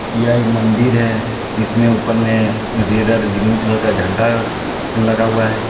यह एक मंदिर है इसमें ऊपर में रेड और ग्रीन कलर का झंडा स- स-लगा हुआ है.